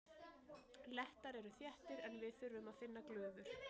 Lettar eru þéttir en við þurfum að finna glufur.